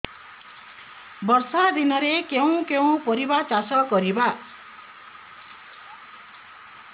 ବର୍ଷା ଦିନରେ କେଉଁ କେଉଁ ପରିବା ଚାଷ କରିବା